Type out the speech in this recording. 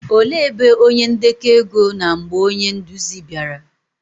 òle ebe onye ndeko ego nọ mgbe onye nduzi bịara?